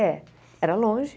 É. Era longe.